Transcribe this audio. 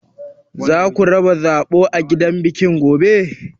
Zaku raba zaɓo a gidan biki gobe?